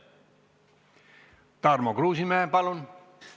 Tarmo Kruusimäe, palun!